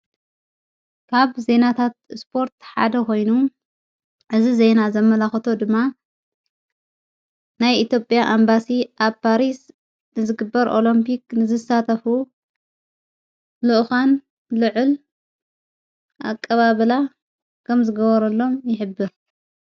ካብ ዜናታት ስፖርት ሓደ ኾይኑ እዝ ዘይና ዘመላኸተ ድማ ናይ ኢቲጴያ ኣምባሲ ኣብ ጳሪስ ንዝግበር ኦሎምፑክ ንዝሳተፉ ሉእኻን ልዕል ኣቀባብላ ከም ዝገበረሎም ይሕብር::